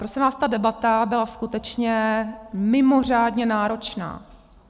Prosím vás, ta debata byla skutečně mimořádně náročná.